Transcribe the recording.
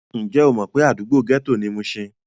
Ǹjẹ́ o mọ̀ pé àdúgbò gẹ́tò ni mushin?